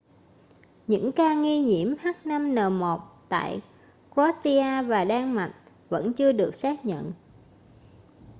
những ca nghi nhiễm h5n1 tại croatia và đan mạch vẫn chưa được xác nhận